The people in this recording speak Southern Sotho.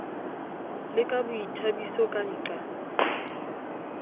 le ka boithabiso ka nqa